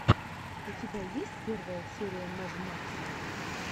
у тебя есть первая серия мэг макса